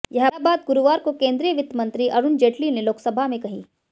यह बात गुरुवार को केंद्रीय वित्त मंत्री अरुण जेटली ने लोकसभा में कही